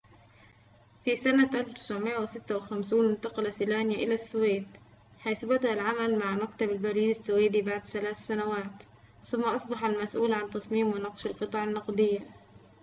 في سنة 1956 انتقل سلانيا إلى السويد حيث بدأ العمل مع مكتب البريد السويدي بعد ثلاث سنوات ثم أصبح المسؤول عن تصميم ونقش القطع النقدية